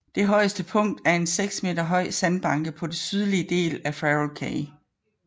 Det højeste punkt er en seks meter høj sandbanke på den sydlige del af Farol Cay